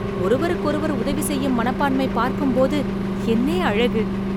ஒருவருக்கொருவர் உதவி செய்யும் மனப்பான்மை பார்க்கும்போது என்னே அழகு!